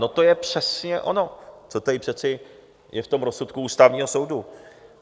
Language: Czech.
No to je přesně ono, to tady přece je v tom rozsudku Ústavního soudu.